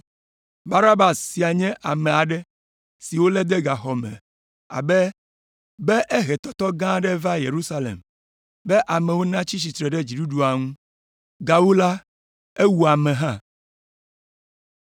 (Barabas sia nye ame aɖe si wolé de gaxɔ me be ehe tɔtɔ gã aɖe va Yerusalem, be amewo natsi tsitre ɖe dziɖuɖua ŋu. Gawu la, ewu ame hã.)